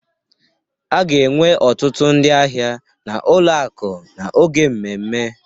A ga-enwe ọtụtụ ndị ahịa na ụlọ akụ n'oge mmemme